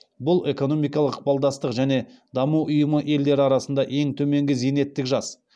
бұл экономикалық ықпалдастық және даму ұйымы елдері арасында ең төменгі зейнеттік жас